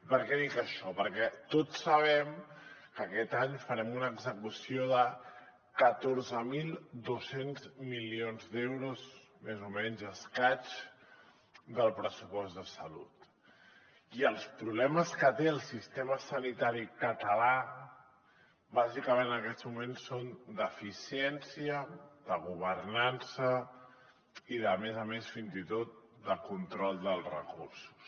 per què dic això perquè tots sabem que aquest any farem una execució de catorze mil dos cents milions d’euros més o menys i escaig del pressupost de salut i els problemes que té el sistema sanitari català bàsicament en aquests moments són d’eficiència de governança i a més a més fins i tot de control dels recursos